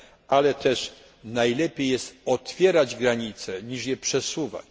Ale też najlepiej jest otwierać granice niż je przesuwać.